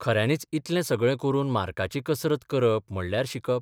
खऱ्यांनीच इतलें सगळे करून मार्काची कसरत करप म्हणल्यार 'शिकप '?